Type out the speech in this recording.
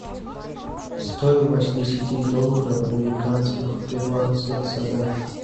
стоимость десяти долларов американских в перуанских солях